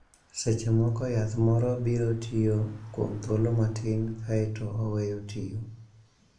Seche moko, yath moro biro tiyo kuom thuolo matin kae to oweyo tiyo.